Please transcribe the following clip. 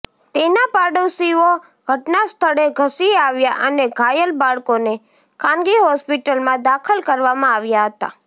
તેના પાડોશીઓ ઘટનાસ્થળે ધસી આવ્યા અને ઘાયલ બાળકોને ખાનગી હોસ્પિટલમાં દાખલ કરવામાં આવ્યા હતા